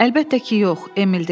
Əlbəttə ki yox, Emil dedi.